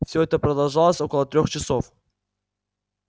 все это продолжалось около трёх часов